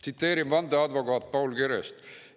Tsiteerin vandeadvokaat Paul Kerest.